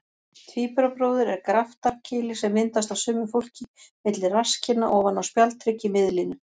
Tvíburabróðir er graftarkýli sem myndast á sumu fólki milli rasskinna ofan á spjaldhrygg í miðlínu.